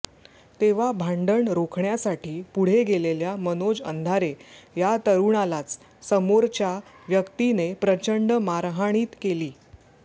तेव्हा भांडण रोखण्यासाठी पुढे गेलेल्या मनोज अंधारे या तरूणालाच समोरच्या व्यक्तीने प्रचंड मारहाणीत केली